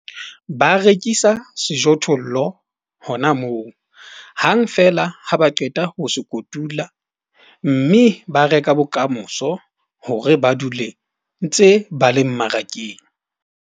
Ba rekisa sejothollo hona moo hang feela ha ba qeta ho se kotula, mme ba reka bokamoso hore ba dule ba ntse ba le mmarakeng.